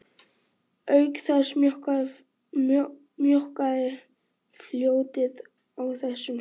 Auk þess mjókkaði fljótið á þessum stað